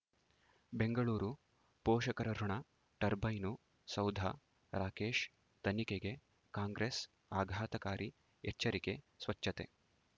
ಬೆಂಗಳೂರು ಪೋಷಕರಋಣ ಟರ್ಬೈನು ಸೌಧ ರಾಕೇಶ್ ತನಿಖೆಗೆ ಕಾಂಗ್ರೆಸ್ ಆಘಾತಕಾರಿ ಎಚ್ಚರಿಕೆ ಸ್ವಚ್ಛತೆ